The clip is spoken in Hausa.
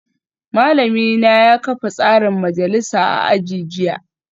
Malamina ya kafa tsarin majalisa a aji jiya